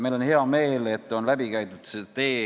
Meil on hea meel, et see tee on läbi käidud.